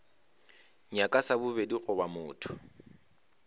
nyaka sa bobedi goba motho